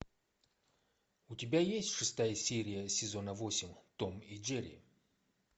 у тебя есть шестая серия сезона восемь том и джерри